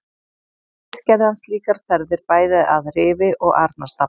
Ekki síst gerði hann slíkar ferðir bæði að Rifi og Arnarstapa.